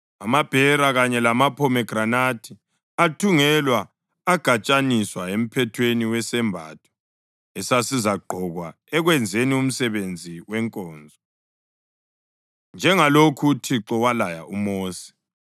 Amabhera kanye lamaphomegranathi athungelwa agatshaniswa emphethweni wesembatho esasizagqokwa ekwenzeni umsebenzi wenkonzo, njengalokhu uThixo walaya uMosi.